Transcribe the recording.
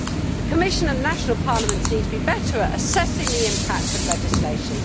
The Commission and national parliaments need to be better at assessing the impacts of legislation.